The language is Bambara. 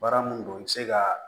Baara mun don i bɛ se ka